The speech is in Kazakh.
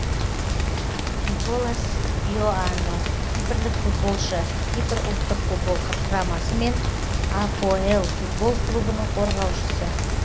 николас иоанну кипрлік футболшы кипр ұлттық футбол құрамасы мен апоэл футбол клубының қорғаушысы